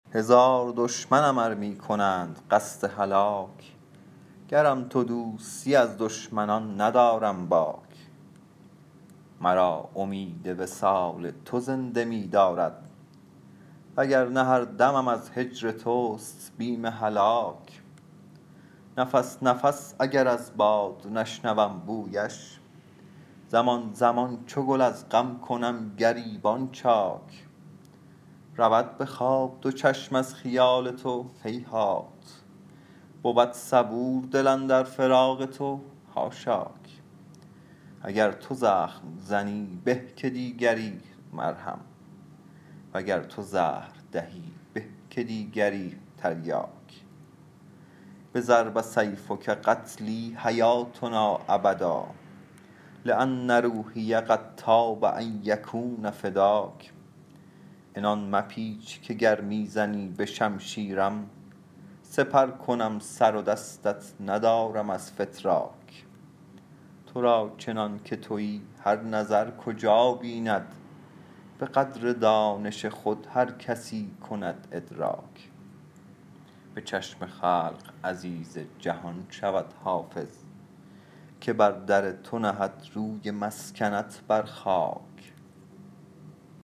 هزار دشمنم ار می کنند قصد هلاک گرم تو دوستی از دشمنان ندارم باک مرا امید وصال تو زنده می دارد و گر نه هر دمم از هجر توست بیم هلاک نفس نفس اگر از باد نشنوم بویش زمان زمان چو گل از غم کنم گریبان چاک رود به خواب دو چشم از خیال تو هیهات بود صبور دل اندر فراق تو حاشاک اگر تو زخم زنی به که دیگری مرهم و گر تو زهر دهی به که دیگری تریاک بضرب سیفک قتلی حیاتنا ابدا لأن روحی قد طاب ان یکون فداک عنان مپیچ که گر می زنی به شمشیرم سپر کنم سر و دستت ندارم از فتراک تو را چنان که تویی هر نظر کجا بیند به قدر دانش خود هر کسی کند ادراک به چشم خلق عزیز جهان شود حافظ که بر در تو نهد روی مسکنت بر خاک